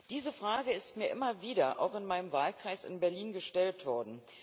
Diese Frage ist mir immer wieder auch in meinem Wahlkreis in Berlin gestellt worden.